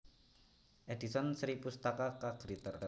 Edison Sripustaka K Gritter